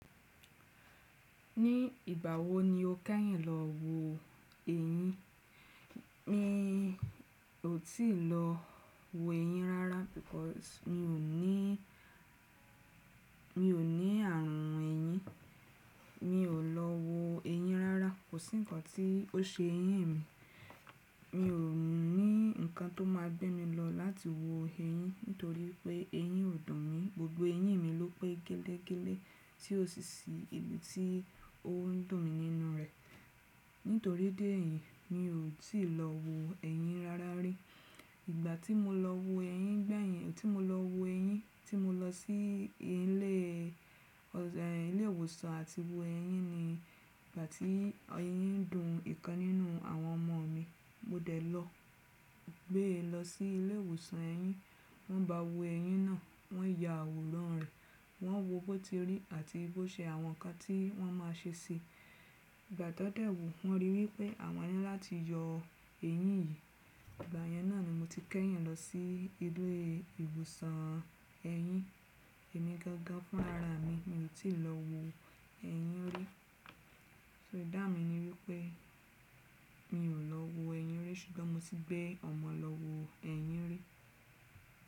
Ní ìgbà wo ni o kẹ́yìn lọ wo eyin? Mi ò tíì lọ wo eyin rárá, because mi ò ní, mi ò ní ààrùn ẹyin. Mi ò lọ wo eyin rárá. Kò sí ǹkan tí ó ṣe ẹyín mi. Mi ò ní ǹkan tó máa gbé mi lọ láti wo eyin, nítorí pé eyin ò dùn mi. Gbogbo eyín mi ló pé gelegele tí ó sì ṣí ibi tí ó ń dùn mi nínú rẹ̀. Nítorí déyìn, mi ò tíì lọ wo ẹyin rárá rí. Ìgbà tí mo lọ wo eyin gbẹ̀yìn, tí mo lọ wo eyin, tí mo lọ sí ilé, ẹ́, ilé ìwòsàn àti wo eyin ni ìgbà tí eyin ń dùn ìkan nínú àwọn ọmọ mi. Mo dẹ̀ lọ, gbé e lọ sí ilé ìwòsàn eyin. Wọ́n bá wo ẹyin náà, wọ́n ya àwòrán rẹ̀, wọ́n wo bó ti rí àti bó ṣe àwọn ǹkan tí wọ́n máa ṣe sí i. Ìgbà tó dẹ̀ wo, wọ́n ríi wí pé àwọn ni láti yọ eyin yìí. Ìgbà yẹn náà ni mo ti kẹ́yìn lọ sí ilé ìwòsàn ẹyin. Èmi gangan fúnra ra mi, mi ò tí ì lọ wo eyin rí. So ìdáhùn mi ni wípé mi ò lọ wo eyin rí ṣùgbọ́n mo ti bẹ́ ọmọ lọ wo eyin rí.